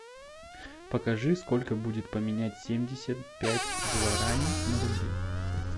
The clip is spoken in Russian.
покажи сколько будет поменять семьдесят пять гуарани на рубли